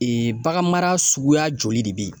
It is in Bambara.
Ee bagan mara suguya joli de bɛ yen.